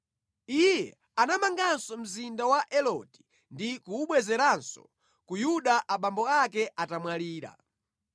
Iye anamanganso mzinda wa Eloti ndi kuwubwezeranso ku Yuda abambo ake atamwalira.